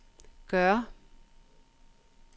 gør